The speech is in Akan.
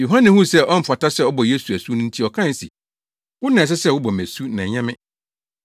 Yohane huu sɛ ɔmfata sɛ ɔbɔ Yesu asu nti ɔkae se, “Wo na ɛsɛ sɛ wobɔ me asu na ɛnyɛ me.”